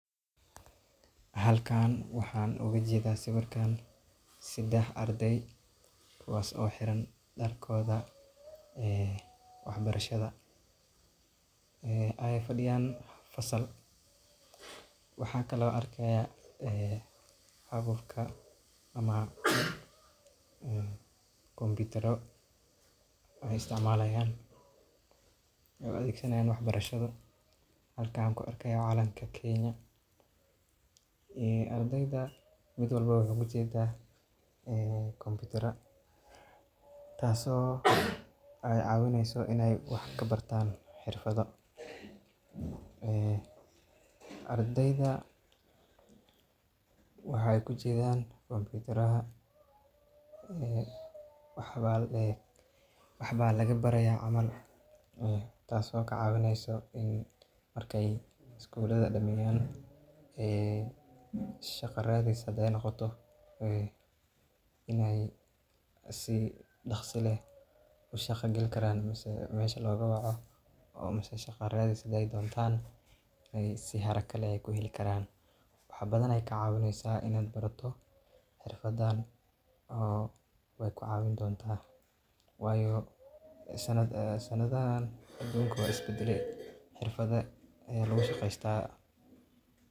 Halkan waxaa ooga jeeda sawiirkaan sedex ardeey kuwaas oo xiran darkooda wax barashada, aay fadiyaan fasal, waxaan kale oo aan arkaaya qalabka kombitaro, waxeey isticmaalaan aay u adeegsanaayan wax barasho, waxa kale oo aan arkaaya calanka kenya, ardeyda mid walbo wuxuu kujeeda kombitaro taas oo kacawineyso inaay wax kabartaan xirfado, ardeyda waxeey kujeedan kombitaraha, waxba laga bari haaya camal, taas oo kacawineyso markeey iskulaha daneeyan ee shaqa radis hadeey noqoto inaay si daqsi leh ushaqa gali karaan mise meesha looga waco mise shaqa aay doontaan si daqsi leh aay kuheli karaan, wax badan ayeey ka caawineysa inaad barato xirfadaan oo waay ku cawin doonta, waayo sanadahaan aduunka wuu is badale xirfado ayaa lagu shaqeesta.